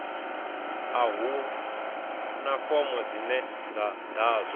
a huna fomo dzine dza ḓadzwa